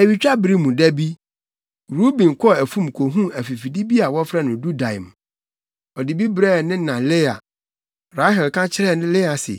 Awitwabere mu da bi, Ruben kɔɔ afum kohuu afifide bi a wɔfrɛ no dudaim. Ɔde bi brɛɛ ne na Lea. Rahel ka kyerɛɛ Lea se,